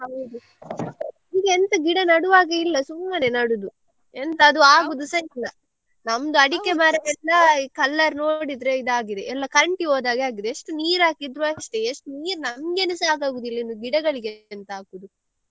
ಈಗ ಎಂತ ಗಿಡ ನೆಡುವಾಗೆ ಇಲ್ಲ ಸುಮ್ಮನೆ ನಡುದು ಎಂತ ಅದು ಆಗುದುಸ ಇಲ್ಲ ನಮ್ದು ಅಡಿಕೆ ಮರದಿಂದ color ನೋಡಿದ್ರೆ ಇದಾಗಿದೆ ಎಲ್ಲ ಕರಂಟಿ ಹೋದ ಹಾಗೆ ಆಗಿದೆ ಎಷ್ಟು ನೀರು ಹಾಕಿದ್ರು ಅಷ್ಟೇ ಎಷ್ಟು ನೀರು ನಮ್ಗೆನೆ ಸಾಕಾಗುದಿಲ್ಲ ಇನ್ನು ಗಿಡಗಳಿಗೆ ಎಂತ ಹಾಕುದು.